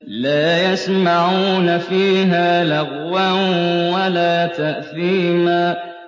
لَا يَسْمَعُونَ فِيهَا لَغْوًا وَلَا تَأْثِيمًا